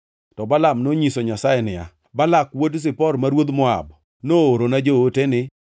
To Balaam nonyiso Nyasaye niya, “Balak wuod Zipor, ma ruodh Moab, noorona ote ni: